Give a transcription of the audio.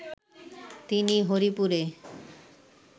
তিনি হরিপুরে